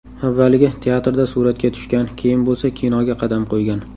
Avvaliga teatrda suratga tushgan, keyin bo‘lsa kinoga qadam qo‘ygan.